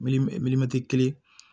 kelen